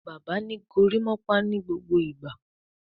Bàbá ní gorimopa nigbogbo ìgbà